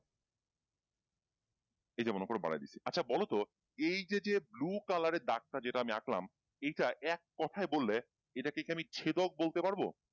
এই যেমন উপরে বাড়ায় দিছি আচ্ছা বলতো এইযে যে blue color এর ডাকটা যেটা আমি আঁকলাম এইটা এক কোথায় বললে এটাকে কি আমি ছেদক বলতে পারবো